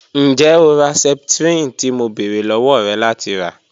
Njẹ o ra septrin ti mo beere lọwọ rẹ lati ra?